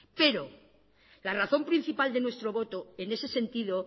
pero la razón principal de nuestro voto en ese sentido